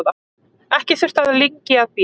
Ekki þurfti lengi að bíða.